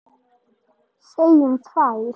Segjum tvær.